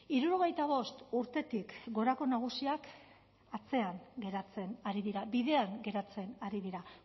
hirurogeita bost urtetik gorako nagusiak atzean geratzen ari dira bidean geratzen ari dira